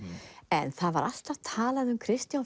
en það var alltaf talað um Kristján